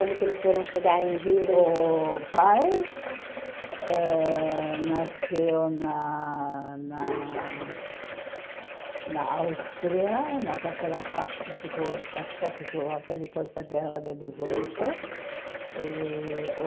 Como que eles foram chegar em Rio de O pai ãh nasceu na na na Áustria, mas aquela parte ficou da Tchecoslovaquia depois da guerra de dezoito. E o